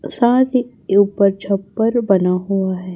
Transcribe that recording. साथ ही ये ऊपर छप्पर बना हुआ है।